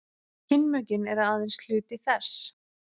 kynmökin eru aðeins hluti þess